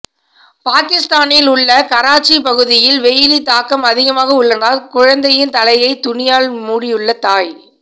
பாகிஸ்தானில் உள்ள கராச்சி பகுதியில் வெயிலின் தாக்கம் அதிகமாக உள்ளதால் குழந்தையின் தலையை துணியால் மூடியுள்ள தாய்